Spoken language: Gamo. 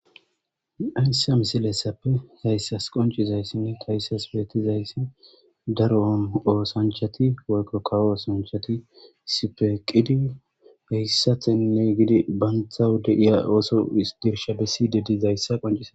ansa misilessappe hayssas qoncizayssinne tayssas beetizayssi daro oosanchati woykko kawo osanchati sipeqidi heyssathenne gidi banthawude iya oso dirsha bessidedizayssa qoncia